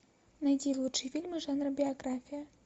найди лучшие фильмы жанра биография